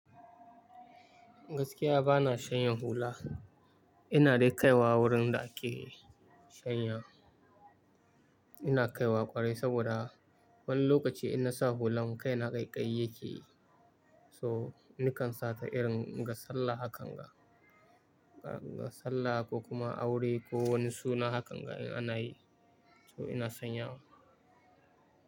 Gaskiya bana shanya hula. Ina dai kaiwa wurin da ake shanya. Ina kaiwa ƙwarai saboda wani lokaci in na sa hulan kai na ƙaiƙayi yake yi. To, nikan sa ta irin ga sallah hakan ga. Ga sallah ko kuma aure ko wani suna haka ga in ana yi. To ina sanyawa.